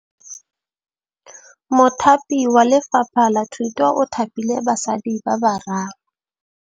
Mothapi wa Lefapha la Thutô o thapile basadi ba ba raro.